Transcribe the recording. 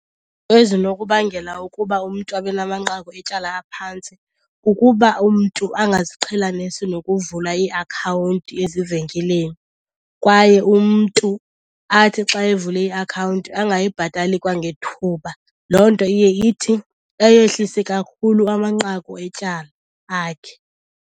Ezinokubangela ukuba umntu abe namanqaku etyala aphantsi kukuba umntu angaziqhelanisi nokuvula iiakhawunti ezivenkileni kwaye umntu athi xa evule iakhawunti angayibhatali kwangethuba. Loo nto iye ithi ayehlise kakhulu amanqaku etyala akhe.